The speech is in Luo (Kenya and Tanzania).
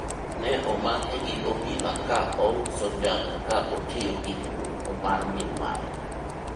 ne omake gi obila ka ouso njaga ka otiyo gi nyamburko mar min mare